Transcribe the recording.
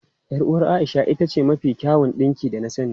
Yar uwar Aisha ita ce mafi kyawun dinki da na sani.